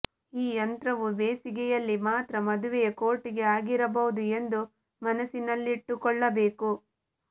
ಈ ಯಂತ್ರವು ಬೇಸಿಗೆಯಲ್ಲಿ ಮಾತ್ರ ಮದುವೆಯ ಕೋರ್ಟ್ಗೆ ಆಗಿರಬಹುದು ಎಂದು ಮನಸ್ಸಿನಲ್ಲಿಟ್ಟುಕೊಳ್ಳಬೇಕು